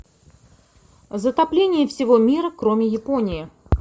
затопление всего мира кроме японии